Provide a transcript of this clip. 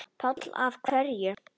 Páll: Af hverju?